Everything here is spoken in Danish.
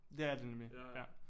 Det er det nemlig ja